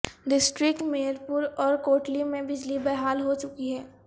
district Mirpur اور کوٹلی میں بجلی بحال ہو چکی ہے